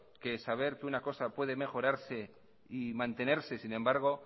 que saber que una cosa puede mejorarse y mantenerse sin embargo